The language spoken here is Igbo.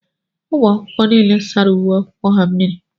Ụmụ akwụkwọ nile sárá uwe akwụkwọ ha mmírí.